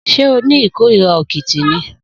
Sé o ni ikórìrá òkìtì ni?